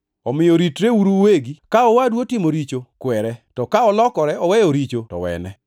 Omiyo ritreuru uwegi. “Ka owadu otimo richo, kwere, to ka olokore oweyo richo, to wene.